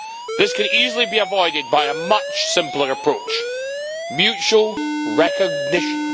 This could easily be avoided by a much simpler approach mutual recognition.